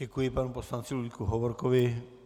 Děkuji panu poslanci Ludvíku Hovorkovi.